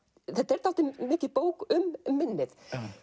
þetta er dálítið mikið bók um minnið